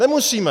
Nemusíme.